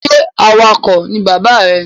Ṣe awakọ̀ ni bàbá rẹ ní?